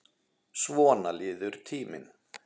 Svona líður tíminn.